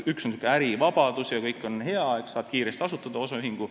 Üks pool on see ärivabadus – kõik on hea, saad kiiresti asutada osaühingu.